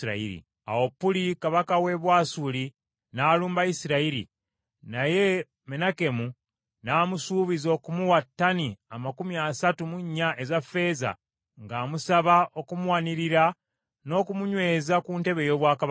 Awo Puli kabaka w’e Bwasuli n’alumba Isirayiri, naye Menakemu n’amusuubiza okumuwa ttani amakumi asatu mu nnya eza ffeeza ng’amusaba okumuwanirira n’okumunyweza ku ntebe ey’obwakabaka.